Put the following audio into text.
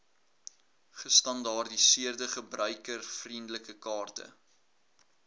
gestandaardiseerde gebruikervriendelike kaarte